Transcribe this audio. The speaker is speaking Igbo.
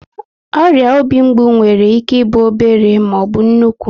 Ọrịa obi mbụ nwere ike ịbụ obere maọbụ nnukwu